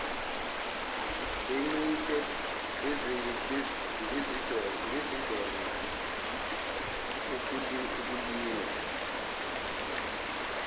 bencike ngezindonga ukulingwa